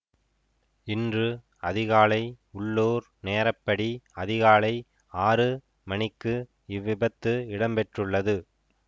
இன்று அதிகாலை உள்ளூர் நேரப்படி அதிகாலை ஆறு மணிக்கு இவ்விபத்து இடம்பெற்றுள்ளது